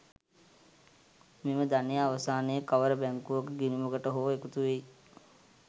මෙම ධනය අවසානයේ කවර බැංකුවක ගිණුමකට හෝ එකතු වෙයි.